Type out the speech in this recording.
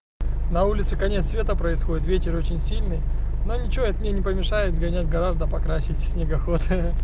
на улице конец света происходит ветер очень сильный но ничего это мне не помешает гонять гораздо покрасить снегоход